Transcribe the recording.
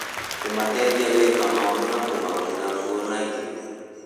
Kũmateithia gwĩka maũndũ na kũmagũrĩra nguo na irio